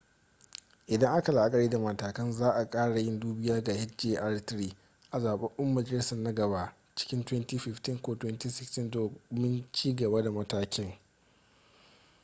idan aka la'akari da matakan za' a kara yin dubiya ga hjr-3 a zababben majalisar na gaba cikin 2015 ko 2016 domin cigaba da matakin